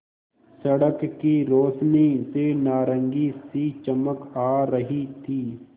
सड़क की रोशनी से नारंगी सी चमक आ रही थी